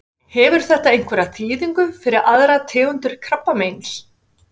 Hefur þetta einhverja þýðingu fyrir aðrar tegundir krabbameins?